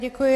Děkuji.